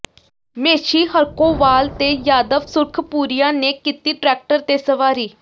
ਮੇਸ਼ੀ ਹਰਖੋਵਾਲ ਤੇ ਯਾਦਵ ਸੁਰਖਪੁਰੀਆ ਨੇ ਕੀਤੀ ਟਰੈਕਟਰ ਤੇ ਸਵਾਰੀ